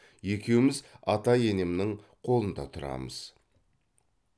екеуміз ата енемнің қолында тұрамыз